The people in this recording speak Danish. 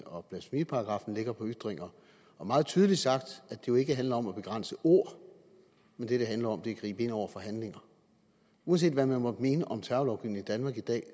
og blasfemiparagraffen lægger på ytringer og meget tydeligt sagt det jo ikke handler om at begrænse ord men at det handler om at gribe ind over for handlinger uanset hvad man måtte mene om terrorlovgivningen i danmark i dag